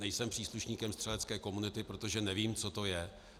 Nejsem příslušníkem střelecké komunity, protože nevím, co to je.